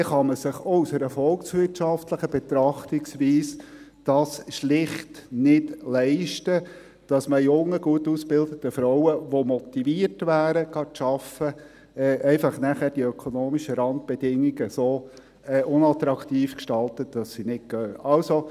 Dann kann man es sich auch aus einer volkswirtschaftlichen Betrachtungsweise heraus schlicht nicht leisten, dass man jungen, gut ausgebildeten Frauen, die motiviert wären, arbeiten zu gehen, dann einfach die ökonomischen Randbedingungen so unattraktiv gestaltet, dass sie nicht arbeiten gehen.